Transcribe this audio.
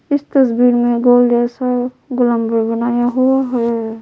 इस तस्वीर में गोल जैसा ग्लमव बनाया हुआ है--